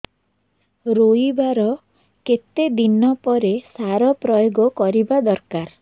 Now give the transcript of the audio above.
ରୋଈବା ର କେତେ ଦିନ ପରେ ସାର ପ୍ରୋୟାଗ କରିବା ଦରକାର